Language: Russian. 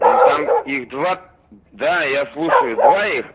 ну там их два да я слушаю два их